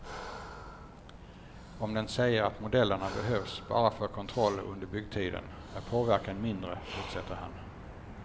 Om den säger att modellerna behövs bara för kontroll under byggtiden är påverkan mindre, fortsätter han.